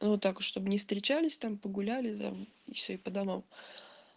ну так чтобы не встречались там погуляли да и всё и по домам